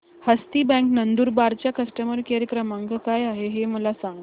हस्ती bank Nandurbar चा customer care क्रमांक काय आहे हे मला सांगा